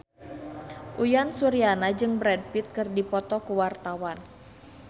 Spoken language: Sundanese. Uyan Suryana jeung Brad Pitt keur dipoto ku wartawan